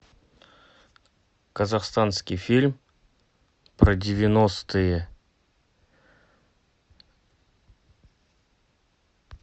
казахстанский фильм про девяностые